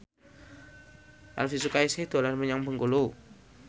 Elvi Sukaesih dolan menyang Bengkulu